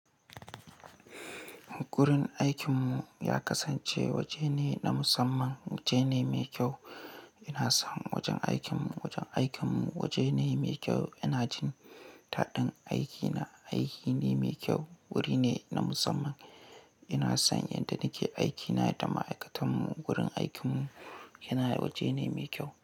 Gurin aikinmu ya kasance waje ne na musamman, waje ne mai kyau. Ina son wajen aikinmu, wajen aikinmu waje ne mai kyau. Ina jin taɗin aikina, aiki ne mai kyau. Wuri ne na musamman. Ina son inda nake aikina da ma'aikatanmu. Gurin aikinmu yana waje ne mai kyau.